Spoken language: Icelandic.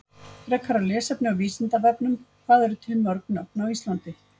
Frekara lesefni á Vísindavefnum Hvað eru til mörg nöfn á Íslandi?